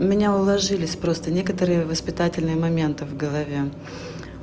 у меня уложились просто некоторые воспитательные моменты в голове